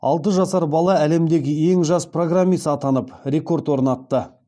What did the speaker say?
алты жасар бала әлемдегі ең жас программист атанып рекорд орнатты